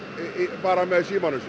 bara með símanum sínum